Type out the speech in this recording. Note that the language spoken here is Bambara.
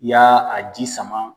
Y'a a ji sama